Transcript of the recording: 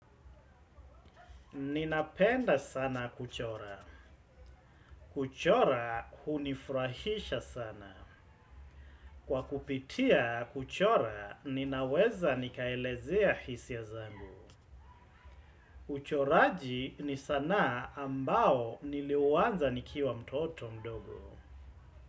Ninapenda sana kuchora. Kuchora hunifurahisha sana. Kwa kupitia kuchora ninaweza nikaelezea hisi ya zangu. Uchoraji ni sanaa ambao niliuanza nikiwa mtoto mdogo.